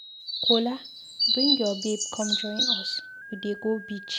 Kola, bring your babe come join us, we dey go beach.